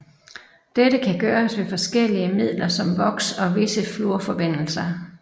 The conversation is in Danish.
Dette kan gøres ved forskellige midler som voks og visse fluorforbindelser